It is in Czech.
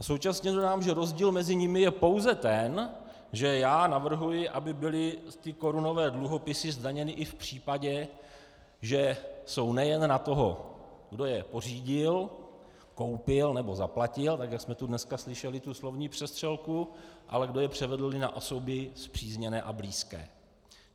A současně dodám, že rozdíl mezi nimi je pouze ten, že já navrhuji, aby byly ty korunové dluhopisy zdaněny i v případě, že jsou nejen na toho, kdo je pořídil, koupil nebo zaplatil, tak jak jste tu dneska slyšeli tu slovní přestřelku, ale kdo je převedl i na osoby spřízněné a blízké.